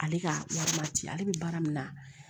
Ale ka wari ma ci ale bɛ baara min na